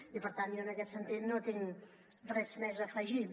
i per tant jo en aquest sentit no tinc res més a afegir